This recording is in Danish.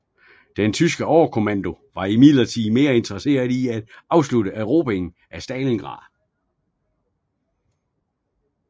Den tyske overkommando var imidlertid mere interesseret i at afslutte erobringen af Stalingrad